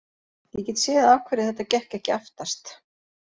Ég get séð af hverju þetta gekk ekki aftast.